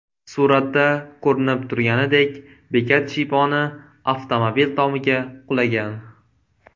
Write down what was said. Suratda ko‘rinib turganidek, bekat shiyponi avtomobil tomiga qulagan.